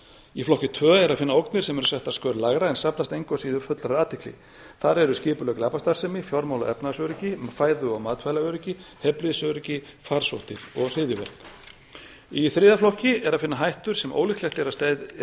í flokki tvö er að finna ógnir sem eru settar skör lægra en þarfnast engu að síður fullrar athygli þar eru skipulögð glæpastarfsemi fjármála og efnahagsöryggi fæðu og matvælaöryggi heilbrigðisöryggi og farsóttir og hryðjuverk í þriðja flokki er að finna hættur sem ólíklegt er